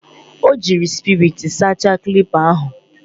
O jiri spiriti sachasia klipa ahu.